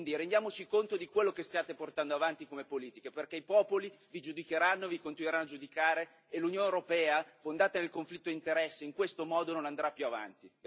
Quindi rendiamoci conto di quello che state portando avanti come politica, perché i popoli vi giudicheranno e vi continueranno a giudicare e l'Unione europea, fondata sul conflitto di interessi, in questo modo non andrà più avanti.